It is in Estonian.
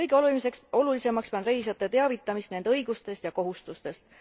Kõige olulisemaks pean reisijate teavitamist nende õigustest ja kohustustest.